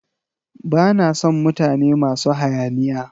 Ba na sn mutane masu hayaniya.